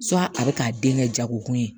a bɛ k'a den kɛ jago kun ye